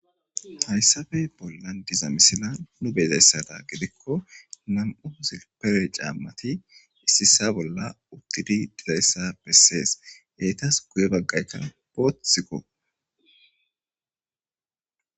Haysape bollan diza misileta nu be7izaysa gidiko nam7u silipereti issi issa bolla uttidi dizayssa besees. Etas guye baggayka boothiko